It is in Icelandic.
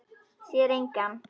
Sér engan.